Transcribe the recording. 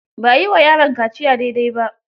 Ba a yi wa yaron kaciya dai dai ba.